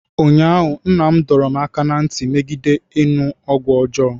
ụnyahụ, Nna m dọrọ m aka ná ntị megide ịṅụ ọgwụ ọjọọ